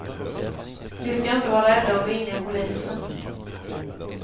De ska inte vara rädda att ringa polisen.